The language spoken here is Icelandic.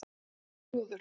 Þrúður